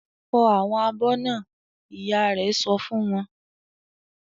"Fọ àwọn abọ́ náà!" Ìyá rẹ̀ sọ fún wọn.